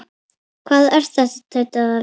Hvað er þetta? tautaði afi.